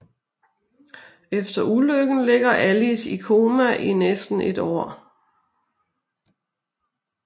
Efter ulykken ligger Alice i koma i næsten et år